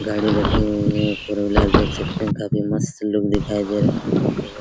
गाड़ी रखी हुइ है | फोर व्हीलर देख सकते हैं काफी मस्त लुक दिखाई दे रहा होगा आप लोगो को |